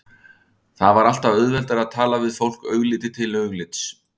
Það var alltaf auðveldara að tala við fólk augliti til auglitis.